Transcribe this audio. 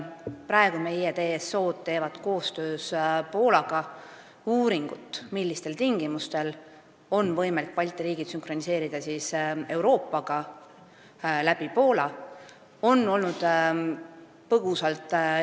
Praegu meie TSO-d teevad koostöös Poolaga uuringut, millistel tingimustel on võimalik Balti riigid sünkroniseerida Euroopaga Poola kaudu.